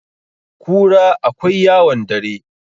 kura akwai yawon dare